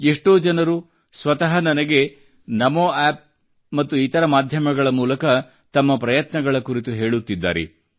ಎಷ್ಟೋ ಜನರು ಸ್ವತಃ ನನಗೆ ನಮೋ ಆಪ್ ಮತ್ತು ಇತರ ಮಾಧ್ಯಮಗಳ ಮೂಲಕ ತಮ್ಮ ಪ್ರಯತ್ನಗಳ ಕುರಿತು ಹೇಳುತ್ತಿದ್ದಾರೆ